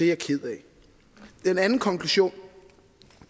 jeg ked af den anden konklusion